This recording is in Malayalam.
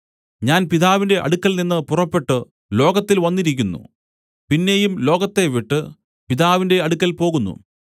ഞാൻ പിതാവിന്റെ അടുക്കൽ നിന്നു പുറപ്പെട്ടു ലോകത്തിൽ വന്നിരിക്കുന്നു പിന്നെയും ലോകത്തെ വിട്ടു പിതാവിന്റെ അടുക്കൽ പോകുന്നു